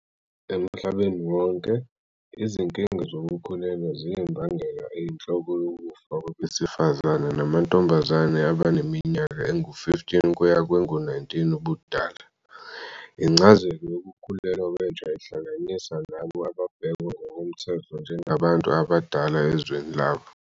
Emhlabeni wonke, izinkinga zokukhulelwa ziyimbangela eyinhloko yokufa kwabesifazane namantombazane abaneminyaka engu-15 kuya kwengu-19 ubudala. Incazelo yokukhulelwa kwentsha ihlanganisa labo ababhekwa ngokomthetho njengabantu abadala ezweni labo.